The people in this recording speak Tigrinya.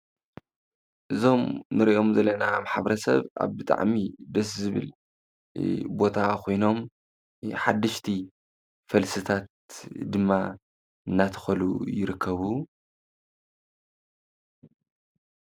እዞም ንሪኦም ዘለና ማሕበረሰብ ኣብ ብጣዕሚ ደስ ዝብል ቦታ ኮይኖም ሓደሽቲ ፈልስታት ድማ እናተኸሉ ይርከቡ፡፡